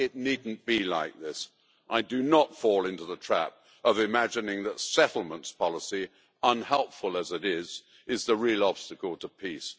It need not be like this. I do not fall into the trap of imagining that settlements policy, unhelpful as it is, is the real obstacle to peace.